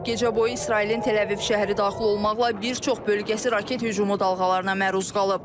Gecə boyu İsrailin Təl-Əviv şəhəri daxil olmaqla bir çox bölgəsi raket hücumu dalğalarına məruz qalıb.